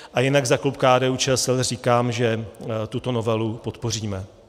A jinak za klub KDU-ČSL říkám, že tuto novelu podpoříme.